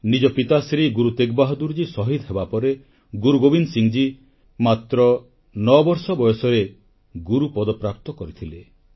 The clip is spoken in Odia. ନିଜ ପିତା ଶ୍ରୀ ଗୁରୁ ତେଗ୍ ବାହାଦୂରଜୀ ଶହୀଦ ହେବାପରେ ଗୁରୁ ଗୋବିନ୍ଦ ସିଂହଜୀ ମାତ୍ର 9 ବର୍ଷ ବୟସରେ ଗୁରୁ ପଦପ୍ରାପ୍ତ କରିଥିଲେ